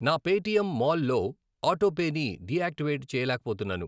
నా Paytm mall లో ఆటోపేని డియాక్టివేట్ చేయలేకపోతున్నాను.